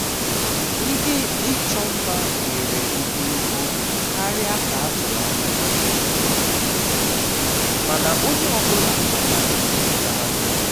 ihe ịchọ mma were ogologo oge karịa ka a tụrụ anya ya um mana onye ọ bụla batara imecha ha n'oge